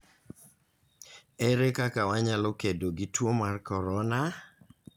Ere kaka wanyalo kedo gi tuo mar corona?